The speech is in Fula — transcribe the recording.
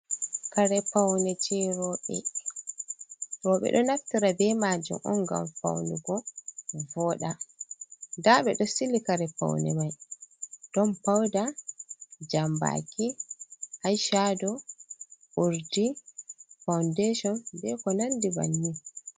Kare paune je roɓe, roɓe ɗo naftira be majum on ngam faunugo voɗa. nda ɓeɗo sili kare paune mai ɗon pauda jambaki aishado urdi fawundashon beko nandi banni.